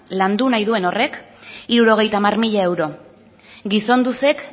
landu nahi du horrek berrogeita hamalau mila euro gizonduzek